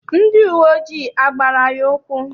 Ndị uwe ojii agbara ya ụkwụ?